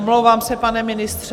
Omlouvám se, pane ministře.